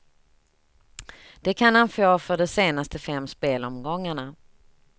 Det kan han få för de senaste fem spelomgångarna.